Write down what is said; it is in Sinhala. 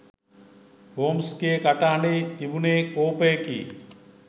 හෝම්ස්ගේ කටහ‍ඬෙහි තිබුනේ කෝපයකි.